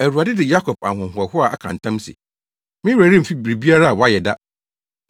Awurade de Yakob ahohoahoa aka ntam se: “Me werɛ remfi biribiara a wɔayɛ da.